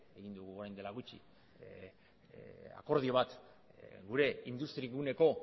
egin dugu orain dela gutxi akordio bat gure industri guneko